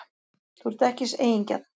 Þú ert ekki eigingjarn.